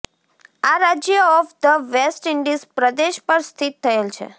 આ રાજ્ય of the West Indies પ્રદેશ પર સ્થિત થયેલ છે